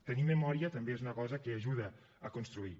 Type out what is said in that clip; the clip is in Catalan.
tenir memòria també és una cosa que ajuda a construir